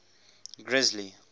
grisly